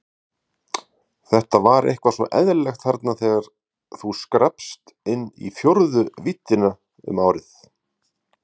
Þetta var eitthvað svo eðlilegt, þarna þegar þú skrappst inn í fjórðu víddina um árið.